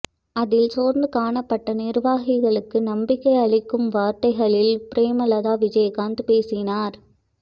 அதில் சோர்ந்து காணப்பட்ட நிர்வாகிகளுக்கு நம்பிக்கை அளிக்கும் வார்த்தைகளில் பிரேமலதா விஜயகாந்த் பேசினார்